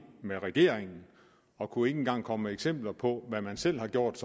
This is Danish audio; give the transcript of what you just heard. med regeringen og kunne ikke engang komme med eksempler på hvad man selv har gjort